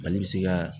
Mali bɛ se ka